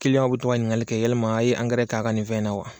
w bɛ to ka ɲiniŋali kɛ yɛlima a' ye angɛrɛ k'a' ka nin fɛn na wa?